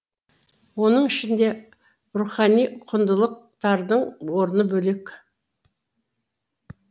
оның ішінде рухани құндылықтардың орны бөлек